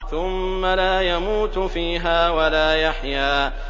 ثُمَّ لَا يَمُوتُ فِيهَا وَلَا يَحْيَىٰ